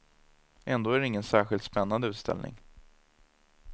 Ändå är det ingen särskilt spännande utställning.